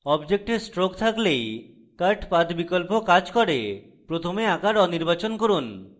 object stroke থাকলেই cut path বিকল্প cut করে প্রথমে আকার অনির্বাচন করুন